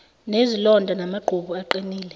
nezilonda amaqhubu aqinile